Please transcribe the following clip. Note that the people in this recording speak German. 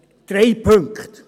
Drei Punkte.